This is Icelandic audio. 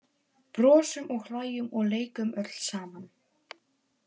Brosum og hlæjum og leikum öll saman.